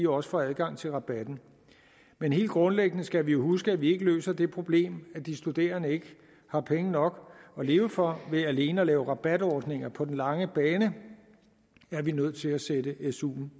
også får adgang til rabatten men helt grundlæggende skal vi huske at vi ikke løser det problem at de studerende ikke har penge nok at leve for ved alene at lave rabatordninger på den lange bane er vi nødt til at sætte suen